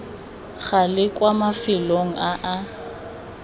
gale kwa mafelong a a